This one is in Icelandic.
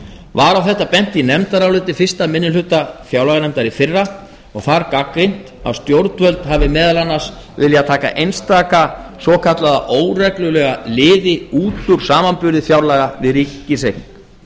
var á þetta bent í nefndaráliti fyrsta minnihluta fjárlaganefndar í fyrra og þar gagnrýnt að stjórnvöld hafi meðal annars viljað taka einstaka svokallaða óreglulega liði út úr samanburði fjárlaga við ríkis